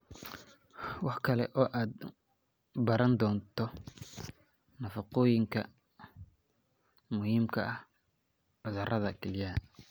Waxa kale oo aad baran doontaa nafaqooyinka muhiimka u ah cudurrada kelyaha.